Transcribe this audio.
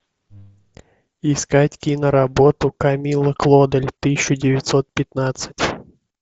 искать киноработу камилла клодель тысяча девятьсот пятнадцать